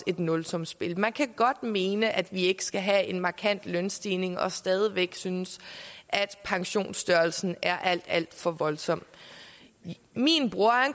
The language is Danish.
et nulsumsspil man kan godt mene at vi ikke skal have en markant lønstigning og stadig væk synes at pensionsstørrelsen er alt alt for voldsom min bror